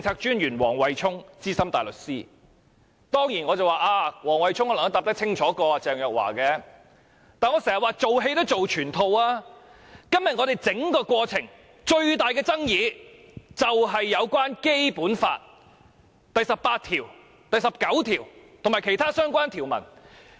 當然，黃惠沖的回答比鄭若驊更清楚，但我經常說，"做戲要做全套"，今天我們整個過程最大的爭議便是關於《基本法》第十八條、第十九條及其他相關條文。